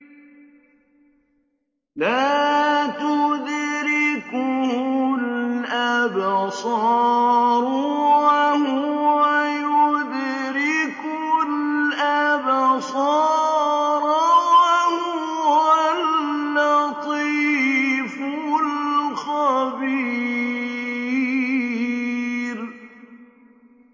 لَّا تُدْرِكُهُ الْأَبْصَارُ وَهُوَ يُدْرِكُ الْأَبْصَارَ ۖ وَهُوَ اللَّطِيفُ الْخَبِيرُ